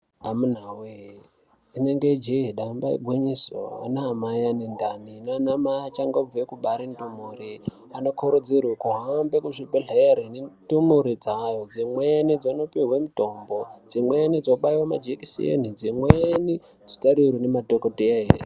Amuna wee dzinenge jehi damba igwinyiso ana mai anendani nanamai achangobva kubara mumhuri anokurudzirwa kuhambe kuzvibhedhleya ndemhuri dzayo dzimweni dzonopiwe mutombo dzimweni dzobaya dzobayiwa majekiseni dzimweni dzotarirwa nemadhokoteya hee.